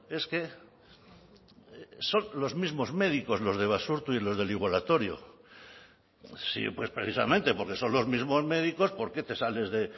es que son los mismos médicos los de basurto y los del igualatorio sí pues precisamente porque son los mismos médicos por qué te sales de